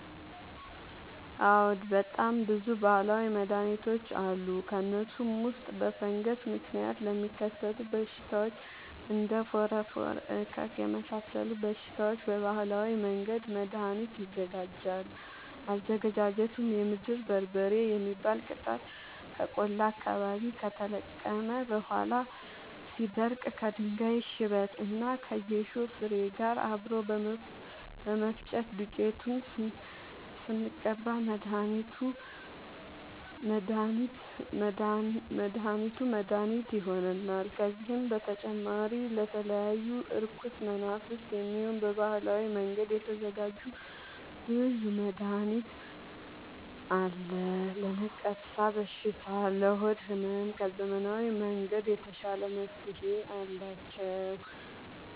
አዎድ በጣም ብዙ በሀላዊ መድሀኒቶች አሉ ከእነሱም ውስጥ በፈንገስ ምክንያት ለሚከሰቱ በሽታዎች እንደ ፎረፎር እከክ የመሳሰሉ በሽታዎች በባህላዊ መንገድ መድሀኒት ይዘጋጃል አዘገጃጀቱም የምድር በርበሬ የሚባል ቅጠል ከቆላ አካባቢ ከተለቀመ በኋላ ሲደርዳ ከድንጋይ ሽበት እና ከጌሾ ፋሬ ጋር አብሮ በመፈጨት ዱቄቱን ስንቀባ መድሀኒት መድሀኒት ይሆነናል። ከዚህም በተጨማሪ ለተለያዩ እርኩስ መናፍት፣ የሚሆን በባህላዊ መንገድ የተዘጋጀ ብዙ መድሀኒት አለ። ለነቀርሻ በሽታ ለሆድ ህመም ከዘመናዊ መንገድ የተሻለ መፍትሄ አላቸው።